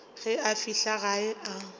ge a fihla gae a